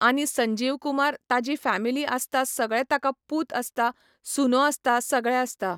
आनी संजीव कुमार ताजी फेमिली आसता सगळें ताका पूत आसता, सुनो आसता सगळें आसता